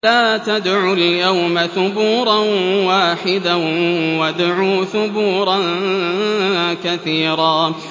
لَّا تَدْعُوا الْيَوْمَ ثُبُورًا وَاحِدًا وَادْعُوا ثُبُورًا كَثِيرًا